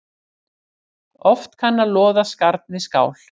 Oft kann að loða skarn við skál.